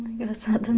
Não, engraçada, não.